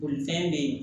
Bolifɛn bɛ yen